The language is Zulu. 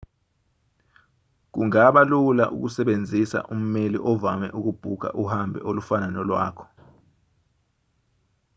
kungaba lula ukusebenzisa ummeli ovame ukubhukha uhambo olufana nolwakho